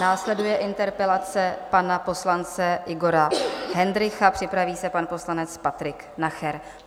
Následuje interpelace pana poslance Igora Hendrycha, připraví se pan poslanec Patrik Nacher.